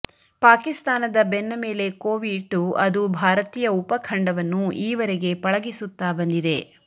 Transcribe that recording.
ಪಾಕಿಸ್ತಾನದ ಬೆನ್ನ ಮೇಲೆ ಕೋವಿಯಿಟ್ಟು ಅದು ಭಾರತೀಯ ಉಪಖಂಡವನ್ನು ಈವರೆಗೆ ಪಳಗಿಸುತ್ತಾ ಬಂದಿದೆ